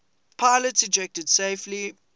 pilots ejected safely